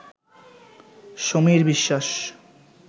Samir Biswas